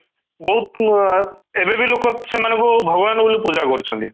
ବହୁତ ଅଂ ଏବେ ବି ଲୋକ ସେମାନଙ୍କୁ ଭଗବାନ ଙ୍କ ଭଳି ପୂଜା କରୁଛନ୍ତି